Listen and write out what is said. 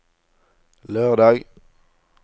lørdag